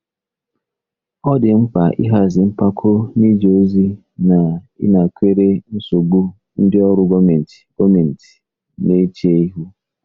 Ọ dị mkpa ịhazi mpako n'ije ozi na ịnakwere nsogbu ndị ọrụ gọọmentị gọọmentị na-eche ihu.